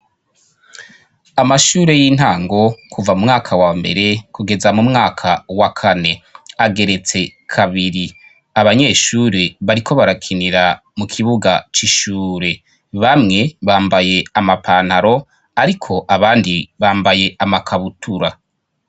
Amashure y'intango kuva mu mwaka wambere kugeza mu mwaka wa kane ageretse kabiri abanyeshure bariko barakinira mu kibuga c'ishure, bamwe bambaye amapantaro ariko abandi bambaye amakabutura.